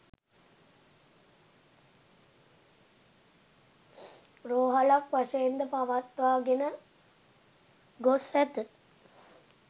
රෝහලක් වශයෙන් ද පවත්වාගෙන ගොස් ඇත.